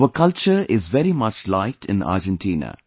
Our culture is very much liked in Argentina